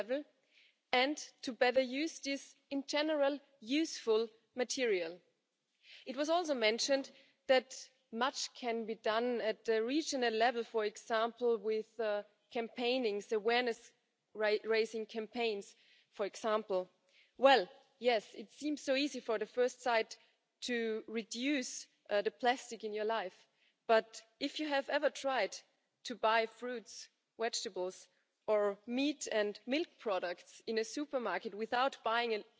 Im Gegensatz zu seiner Rede von 2017, wo er erfreulicherweise auf die Bedeutung einer hohen Durchimpfungsrate und die Notwendigkeit, dass alle Menschen in der EU Zugang zu Impfungen haben, hingewiesen hat. Impfungen auch ein bedeutsames Thema im Zusammenhang mit AMR. Warum ist dieser Kampf gegen AMR, die antimikrobielle Resistenz so wichtig? Weil weitestgehend unbeachtet von der medialen Berichterstattung, aber auch weitestgehend unbeachtet von der allgemeinen öffentlichen Wahrnehmung jede Woche knapp 500 Menschen in der Europäischen Union an Infektionen, die auf multiresistente Keime zurückzuführen sind, sterben. Das sind ebenso viele,